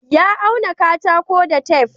ya auna katako da tef